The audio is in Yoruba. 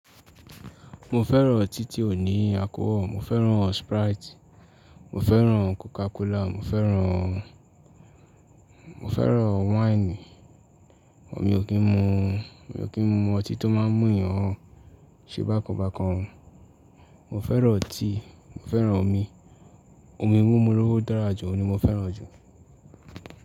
Mo fẹ́ràn tí tí ò ní alcohol, mo fẹ́ràn sprite, mo fẹ́ràn Coca Cola, mo fẹ́ràn, mo fẹ́ràn wáìnì, èmi ò kí ń mu, èmi ò kí ń mu ọtí tó máa ń mú èèyàn ṣe bákan bákan o. Mo fẹ́ràn ọtí, mo fẹ́ràn omi, omi mímú ló dára jù, òun ni mo fẹ́ràn jù.